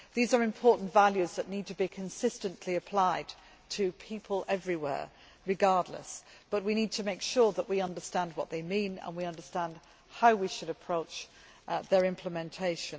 These are important values that need to be consistently applied to people everywhere regardless, but we need to be sure that we understand what they mean and how we should approach their implementation.